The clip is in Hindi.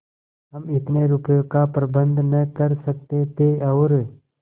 हम इतने रुपयों का प्रबंध न कर सकते थे और